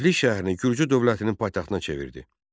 Tiflis şəhərini gürcü dövlətinin paytaxtına çevirdi.